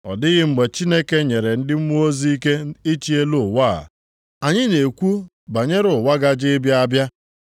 Ọ dịghị mgbe Chineke nyere ndị mmụọ ozi ike ịchị elu ụwa a. Anyị na-ekwu banyere ụwa gaje ịbịa abịa.